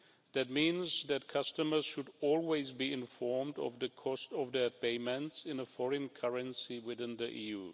That means that customers should always be informed of the cost of their payments in a foreign currency within the EU.